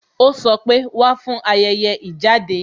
Ó sọ pé "Wá fún ayẹyẹ ìjáde